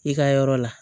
I ka yɔrɔ la